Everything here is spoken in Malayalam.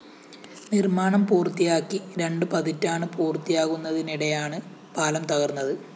നിര്‍മ്മാണം പൂര്‍ത്തിയാക്കി രണ്ട് പതിറ്റാണ് പൂര്‍ത്തിയാകുന്നതിനിടെയാണ് പാലം തകര്‍ന്നത്